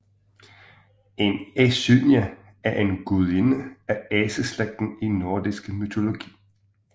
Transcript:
En asynje er en gudinde af aseslægten i nordisk mytologi